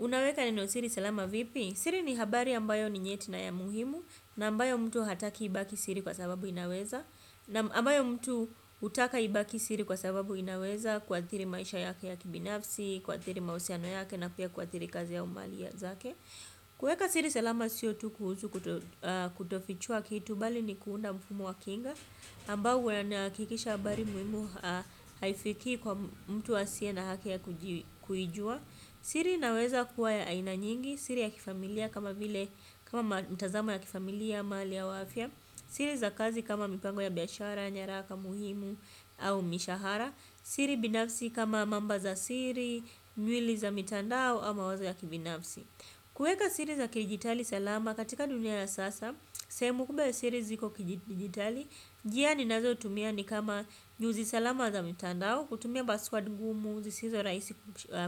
Unaweka neno siri salama vipi? Siri ni habari ambayo ni nyetina ya muhimu na ambayo mtu hataki ibaki siri kwa sababu inaweza. Na ambayo mtu hutaka ibaki siri kwa sababu inaweza kua dhiri maisha yake ya kibinafsi, kua dhiri mahusiano yake na pia kua dhiri kazi au mali zake. Kuweka siri salama siyo tu kuhusu kutofichua kitu bali ni kuunda mfumo wa kinga. Ambayo huha kikisha habari muhimu haifiki kwa mtu asie na haki ya kuijua. Siri inaweza kuwa ya ainanyingi, siri ya kifamilia kama mtazamo ya kifamilia, mali au afya. Siri za kazi kama mipango ya biashara, nyaraka, muhimu au mishahara. Siri binafsi kama mamba za siri, nywili za mitandao ama wazo ya kibinafsi. Kuweka siri za kidijitali salama katika dunia ya sasa. Sehemu kubwaya siri ziko kidijitali njia ninazotumia ni kama nyuzi salama za mitandao kutumia password ngumu zisizo rahisi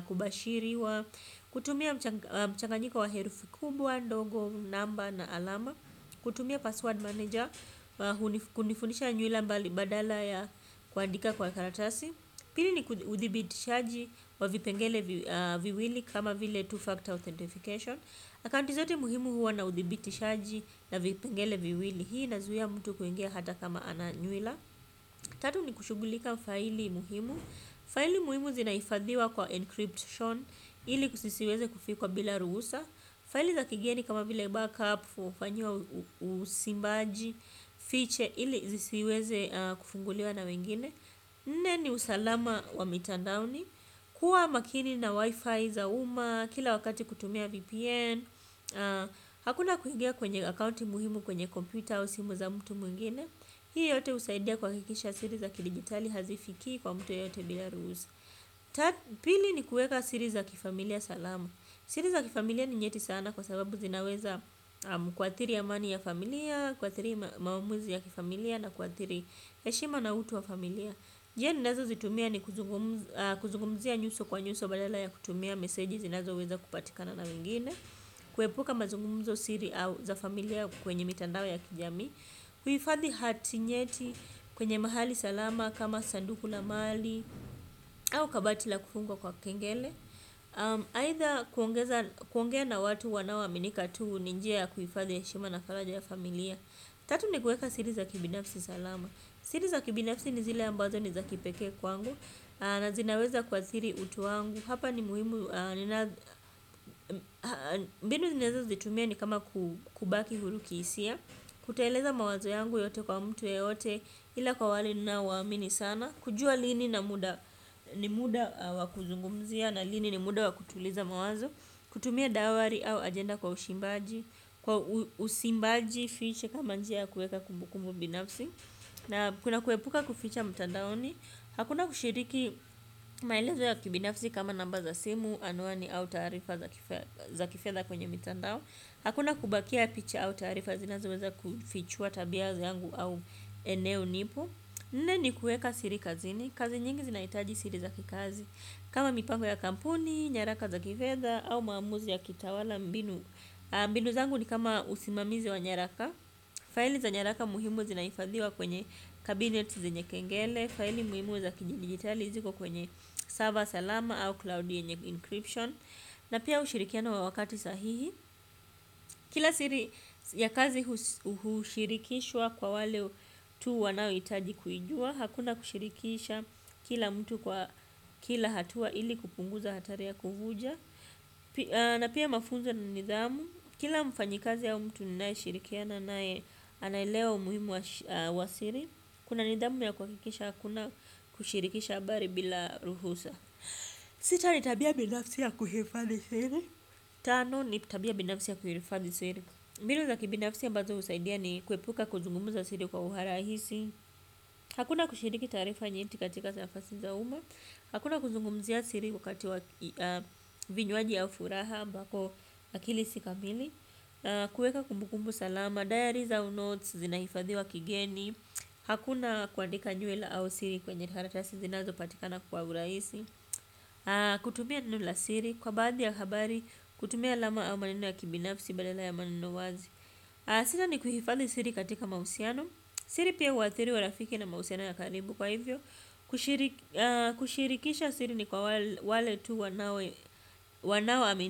kubashiriwa kutumia mchanganyiko wa herufi kubwa ndogo namba na alama kutumia password manager kunifunisha nywila mbali badala ya kuandika kwa karatasi. Pili ni uthibiti shaji wa vipengele viwili kama vile two-factor authentification. Akaunti zote muhimu huwa na uthibiti shaji na vipengele viwili. Hii inazuia mtu kuingia hata kama ananywila. Tatu ni kushughulika faili muhimu. Faili muhimu zinahifadhiwa kwa encryption ili kusiweze kufikwa bila ruhusa. Faili za kigeni kama vile backup, hufanyiwa usimbaji, fiche ili zisiweze kufunguliwa na wengine. Nne ni usalama wa mitandaoni. Kuwa makini na wifi za umma. Kila wakati kutumia VPN. Hakuna kuingia kwenye akaunti muhimu kwenye computer au simu za mtu mwingine. Hii yote husaidia kuha kikisha siri za kidigitali hazifiki kwa mtu yoyote bila ruhusa. Pili ni kuweka siri za kifamilia salama. Siri za kifamilia ni nyeti sana kwa sababu zinaweza ku athiri a mani ya familia. Kua thiri maamuzi ya kifamilia na kuathiri heshima na utu wa familia. Njia ninazo zitumia ni kuzungumzia nyuso kwa nyuso badala ya kutumia meseji zinazo weza kupatikana na wengine. Kuepuka mazungumzo siri za familia kwenye mitandao ya kijamii. Kuhifathi hati nyeti kwenye mahali salama kama sanduku la mali au kabatila kufungwa kwa kengele. Aidha kuongea na watu wanao aminika tuu ninjiya kuhifadhi heshima na faraja ya familia. Tatu ni kuweka siri za kibinafsi salama. Siri za kibinafsi ni zile ambazo ni za kipekee kwangu na zinaweza kua thiri utuwangu hapa ni muhimu mbinu ninazo zitumia ni kama kubaki huru kihisia kutoeleza mawazo yangu yote kwa mtu yo yote ila kwa wale ninao waamini sana kujua lini na muda ni muda wa kuzungumzia na lini ni muda wa kutuliza mawazo kutumia diary au ajenda kwa usimbaji fiche kama njia ya kuweka kumbukumbu binafsi kuna kuepuka kuficha mtandaoni hakuna kushiriki maelezo ya kibinafsi kama namba za simu anwani au taarifa za kifedha kwenye mitandao hakuna kubakia picha au taarifa zina zoweza kufichua tabiazangu au eneo nipo. Nne ni kuweka siri kazini. Kazi nyingi zinahitaji siri za kikazi. Kama mipango ya kampuni, nyaraka za kifedha au maamuzi ya kitawala mbinu. Mbinu zangu ni kama usimamizi wa nyaraka. Faili za nyaraka muhimu zinahifadhiwa kwenye kabinet zenye kengele. Faili muhimu za kiji digitali ziko kwenye server salama au cloud yenye encryption na pia ushirikiano wa wakati sahihi kila siri ya kazi hushirikishwa kwa wale tu wanao hitaji kuijua. Hakuna kushirikisha kila mtu kwa kila hatua ili kupunguza hatari ya kuvuja na pia mafunzo na nidhamu kila mfanyikazi au mtu ninaye shirikiana naye anaelewa umuhimu wa siri. Kuna nidhamu ya kuha kikisha hakuna kushirikisha habari bila ruhusa. Sita nitabia binafsi ya kuhifathi siri. Tano nitabia binafsi ya kuilifathi siri. Mbinu za kibinafsi ambazo husaidia ni kuepuka kuzungumza siri kwa uharahisi hakuna kushiriki taarifa nyeti katika nafasi za umma hakuna kuzungumzia siri wakati wa vinywaji au furaha ambapo akili si kamili. Kuweka kumbukumbu salama, diaries au notes, zinahifadhiwa kigeni. Hakuna kuandika nywila au siri kwenye karatasi zinazo patikana kwa urahisi. Kutumia nenolq siri, kwa baadhi ya habari, kutumia alama au maneno ya kibinafsi badala ya maneno wazi. Sita ni kuhifadhi siri katika mahusiano. Siri pia huathiri urafiki na mahusiano ya karibu kwa hivyo kushirikisha siri ni kwa wale tu wanao amini.